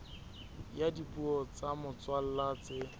ya dipuo tsa motswalla tse